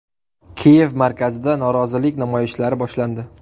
Kiyev markazida norozilik namoyishlari boshlandi.